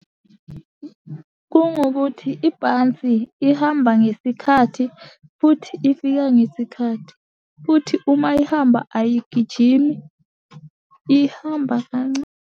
Kungukuthi ibhansi ihamba ngesikhathi, futhi ifika ngesikhathi, futhi uma ihamba ayigijimi ihamba kancane.